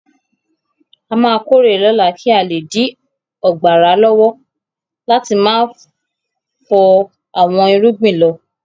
A máa kórè lọ́la kí a le dí ọgbàrà lọ́wọ́ láti má fọ àwọn irúgbìn lọ.